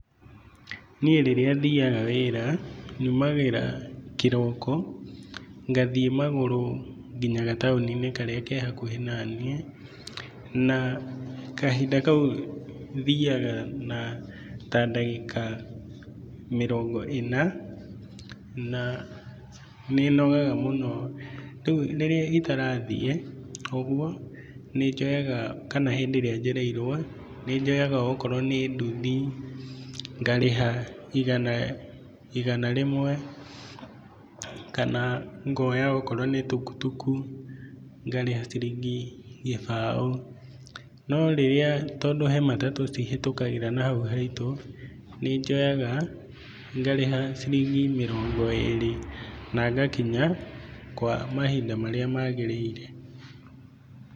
Niĩ rĩrĩa thiaga wĩra nyumagĩra kĩroko ngathiĩ magũrũ nginya gataoni~inĩ karĩa ke hakuhi naniĩ. Na kahinda kau thiaga na ta ndagĩka mĩrongo ĩna na nĩnogaga mũno. Rĩrĩa itarathi ũgwo kana hĩndĩ ĩrĩa njereirwo nĩ joyaga ongorwo nĩ nduthi ngarĩha igana rĩmwe. Kana ngoya okorwo nĩ tukutuku ngarĩha ciringi gibao.No rĩrĩa, tondũ he matatu cihũkagĩra na haũ haitũ nĩ njoyaga ngarĩha ciringi mĩrongo ĩri na ngakinya kwa mahinda marĩa magĩrĩire.